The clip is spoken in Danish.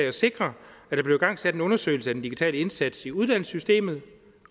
at sikre at der blev igangsat en undersøgelse af den digitale indsats i uddannelsessystemet